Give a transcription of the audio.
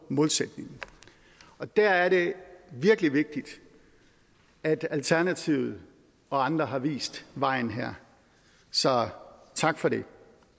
målsætningen og der er det virkelig vigtigt at alternativet og andre har vist vejen her så tak for det